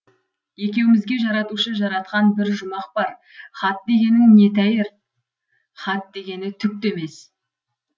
екеумізге жаратушы жаратқан бір жұмақ бар хат дегенің не тәйрі хат дегені түк те емес